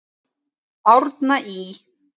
Árna Ý.